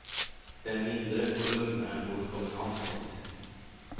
Det är mindre och lugnare än på ett kommunalt dagis.